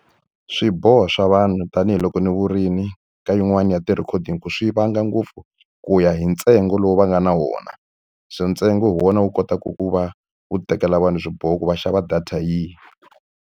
Swiboho swa vanhu tanihiloko ni vurimi ka yin'wani ya ti-recording ku swi vanga ngopfu ku ya hi ntsengo lowu va nga na wona. So ntsengo hi wona wu kotaka ku va wu tekela vanhu swiboho ku va xava data yihi.